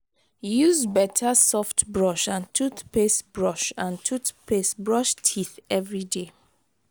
use better soft brush and toothpaste brush and toothpaste brush teeth every day